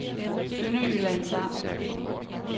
Sønderjyllands Amt